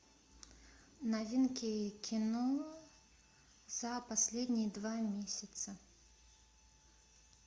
новинки кино за последние два месяца